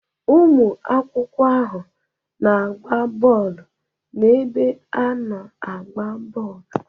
Ụmụ akwụkwọ ahụ na-agba bọọlụ n'ebe ana-agba bọọlụ.